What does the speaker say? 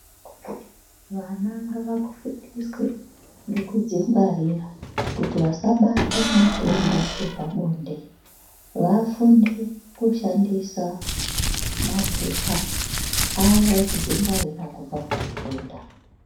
Vana ngavafundiswe ngekudzingwarira kuti vasabate matenda epabonde vafunde kushandisa mapepa aya ekudzingwarira kubva kuzvitenda .